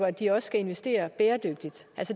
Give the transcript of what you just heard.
at de også skal investere bæredygtigt